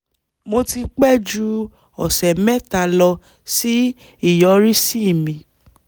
mo ti pẹ́ ju ọ̀sẹ̀ mẹ́ta lọ sí ìyọrísí mi